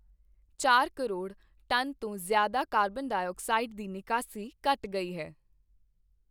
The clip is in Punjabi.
ਚਾਰ ਕਰੋੜ ਟਨ ਤੋਂ ਜ਼ਿਆਦਾ ਕਾਰਬਨ ਡਾਈਔਕਸਾਈਡ ਦੀ ਨਿਕਾਸੀ ਘਟ ਗਈ ਹੈ।